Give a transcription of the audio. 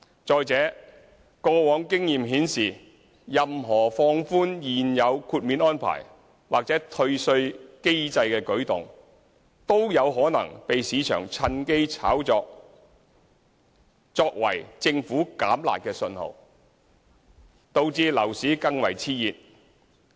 再者，過往經驗顯示，任何放寬現有豁免安排或退稅機制的舉動均可能被市場趁機炒作成政府"減辣"的信息，導致樓市更為熾熱。